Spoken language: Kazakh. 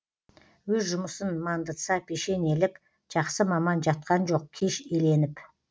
өз жұмысын мандытса пешенелік жақсы маман жатқан жоқ кеш еленіп